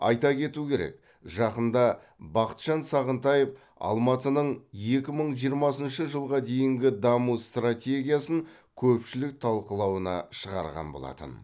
айта кету керек жақында бақытжан сағынтаев алматының екі мың жиырмасыншы жылға дейінгі даму стратегиясын көпшілік талқылауына шығарған болатын